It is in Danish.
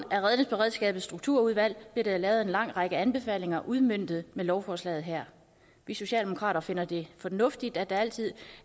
af redningsberedskabets strukturudvalg blev der jo lavet en lang række anbefalinger som udmøntes med lovforslaget her vi socialdemokrater finder det fornuftigt at det altid